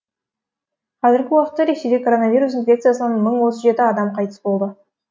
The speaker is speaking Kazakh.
қазіргі уақытта ресейде коронавирус инфекциясынан мың отыз жеті адам қайтыс болды